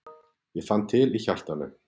Ég fann til í hjartanu.